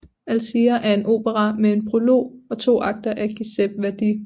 Alzira er en opera med en prolog og to akter af Giuseppe Verdi